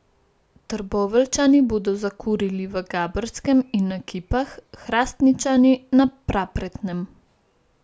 Trboveljčani bodo zakurili v Gabrskem in na Kipah, Hrastničani na Prapretnem.